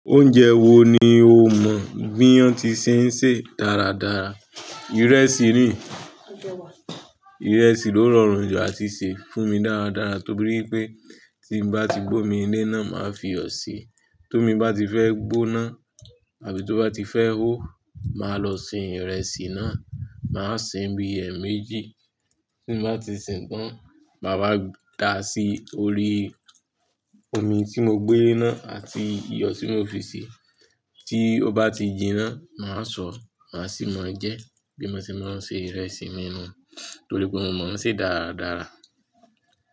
Oúnjẹ wo ni o mọ̀ bí wọ́n ti ṣé ń ṣe dáradára? Ìrẹsì ni, ìrẹsì ló rọrùn jù àti ṣe fún mi dáradára torí pé tí n bá ti gbómi lé náà, màá fi iyọ̀ sí i. Tó omi ba ti fẹ́ gbóná àbí tó bá ti fẹ́ hó, màá lọ sin ìrẹsì náà, màá sin bí ẹ̀ẹ̀mejì, tí n bá ti sìn tán, màá dáa sí orí omi tí mo gbé lé náà àti iyọ̀ tí mo fi sèé. Tí ó bá ti jinná, màá sọ, màá sì máa jẹ bí mo ṣe máa ń ṣe ìrẹsì mímu torí pé mo mọ̀ ọ́n ṣe dáradára.